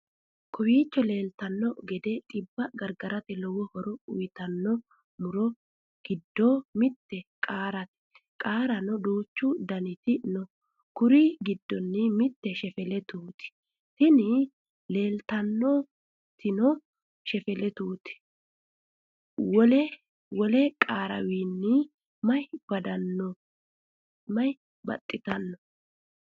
Kowicho leeltanno gede xibba gargarate lowo horo uyitanno muro giddo mitte qaarete. qaareno duuchu daniti no kuri giddono mitte shelefetut tini leeltannotino shelefetut wole qarewinni mayin baxitanno?